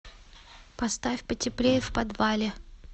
поставь потеплее в подвале